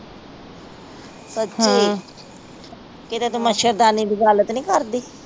ਸਚੀ ਕੀਤੇ ਤੂੰ ਮੱਛਰਦਾਨੀ ਦੀ ਗੱਲ ਤਾ ਨੀ ਕਰਦੀ